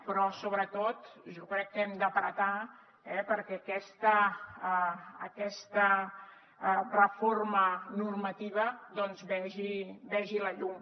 però sobretot jo crec que hem de pressionar perquè aquesta reforma normativa vegi la llum